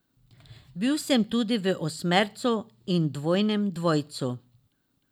Bil sem tudi v osmercu in dvojnem dvojcu.